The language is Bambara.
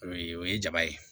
O ye o ye jaba ye